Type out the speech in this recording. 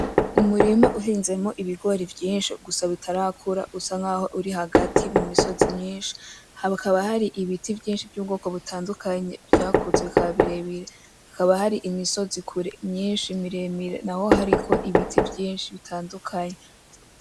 Umurima uhinzemo ibigori vyinshi gusa bitarakura usa nkaho uri hagati mu misozi myinshi hakaba hari ibiti vyinshi by’ubwoko butandukanye vyakuze bikaba birebire. Hakaba hari imisozi kure myinshi miremire naho hariko ibiti vyinshi bitandukanye.